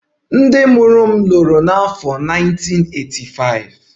Ndị mụrụ m lụrụ n'afọ 1985